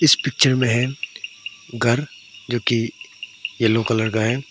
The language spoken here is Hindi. इस पिक्चर में है घर जो की येलो कलर का है।